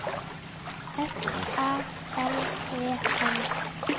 S Æ L E N